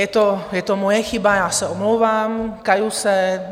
Je to moje chyba, já se omlouvám, kaju se.